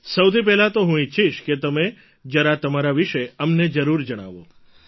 સૌથી પહેલાં તો હું ઈચ્છીશ કે તમે જરા તમારા વિશે અમને જરૂર જણાવો